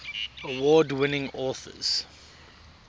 award winning authors